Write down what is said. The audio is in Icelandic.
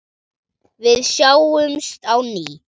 Við sjáumst á ný.